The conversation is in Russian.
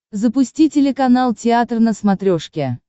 запусти телеканал театр на смотрешке